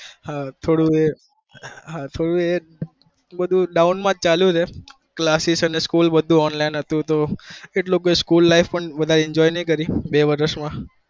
હા થોડું એ doun માં જ ચાલ્યું છે class school enjoy નહી કરી મી બે વરસ માં